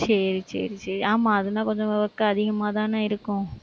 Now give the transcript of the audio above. சரி, சரி, சரி ஆமா அதுன்னா கொஞ்சம் work அதிகமாதானே இருக்கும்.